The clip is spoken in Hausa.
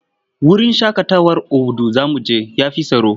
Wurin shaƙatawar Obudu za mu je ya fi tsaro.